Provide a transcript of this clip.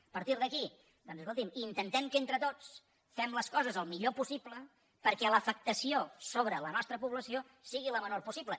a partir d’aquí doncs escolti’m intentem que entre tots fem les coses el millor possible perquè l’afectació sobre la nostra població sigui la menor possible